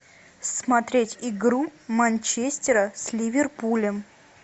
смотреть игру манчестера с ливерпулем